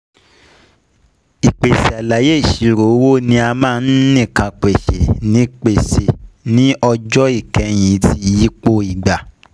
ìpèsè àlàyé ìṣirò owó ni a máa ń nìkàn pèsè ní pèsè ní ọjọ́ ìkẹyìn ti ìyípo ígbà